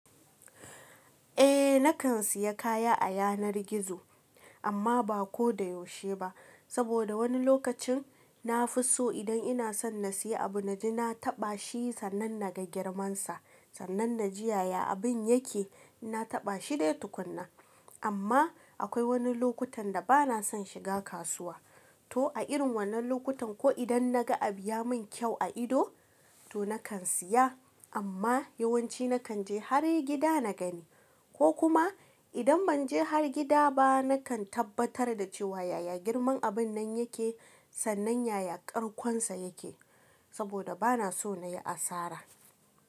Eh nakan siya kaya a yanar gizo amma ba ko da yaushe ba. Saboda wani lokacin na fi so idan ina son na siya abu na ji na taɓa shi sannan na ga girman sa sannan na ji yaya abin yake. Na taɓa shi dai tukunna. Amma akwai wani lokutan da bana son shiga kasuwa. To a irin wannan lokutan ko idan na ga abu ya min kyau a ido to nakan siya amma yawanci nakan je har gida na gani. Ko kuma idan ban je har gida ba nakan tabbatar da cewa yaya girman abun nan yake sannan yaya ƙarkon sa yake. Saboda bana so na yi asara.